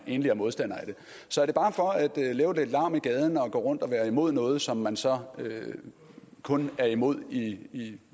egentlig er modstandere af det så er det bare for at lave lidt larm i gaden og gå rundt og være imod noget som man så kun er imod i